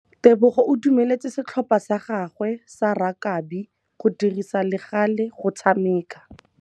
Tebogô o dumeletse setlhopha sa gagwe sa rakabi go dirisa le galê go tshameka.